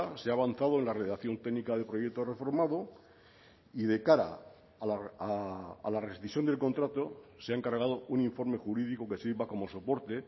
se ha avanzado en la redacción técnica del proyecto reformado y de cara a la rescisión del contrato se ha encargado un informe jurídico que sirva como soporte